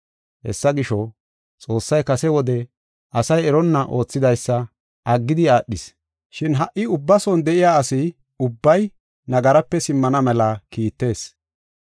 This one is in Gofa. Hessa gisho, Xoossay beni wode asay eronna oothidaysa aggidi aadhis. Shin ha77i ubba bessan de7iya asay nagarape simmana mela kiitees.